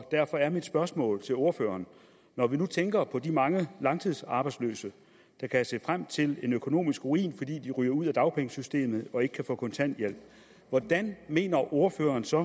derfor er mit spørgsmål til ordføreren når vi nu tænker på de mange langtidsarbejdsløse der kan se frem til en økonomisk ruin fordi de ryger ud af dagpengesystemet og ikke kan få kontanthjælp hvordan mener ordføreren så